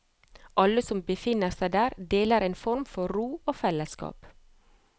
Alle som befinner seg der, deler en form for ro og fellesskap.